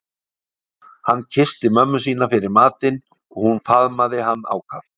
Hann kyssti mömmu sína fyrir matinn og hún faðmaði hann ákaft.